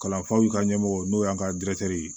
Kalanfaw ka ɲɛmɔgɔ n'o y'an ka ye